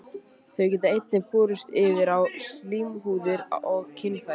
Þau geta einnig borist yfir á slímhúðir og kynfæri.